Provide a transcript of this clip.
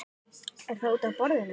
Er það útaf borðinu?